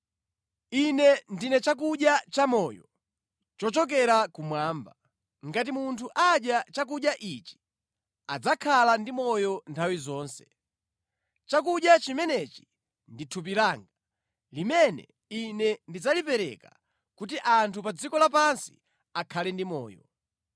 Ine ndine chakudya chamoyo chochokera kumwamba. Ngati munthu adya chakudya ichi, adzakhala ndi moyo nthawi zonse. Chakudya chimenechi ndi thupi langa, limene Ine ndidzalipereka kuti anthu pa dziko lapansi akhale ndi moyo.”